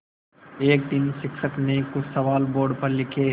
एक दिन शिक्षक ने कुछ सवाल बोर्ड पर लिखे